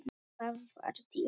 Hvað var til ráða?